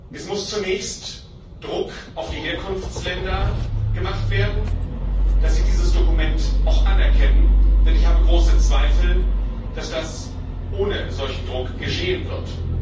Es muss zunächst Druck auf die Herkunftsländer gemacht werden, dass sie dieses Dokument auch anerkennen, denn ich habe große Zweifel, dass das ohne solchen Druck geschehen wird.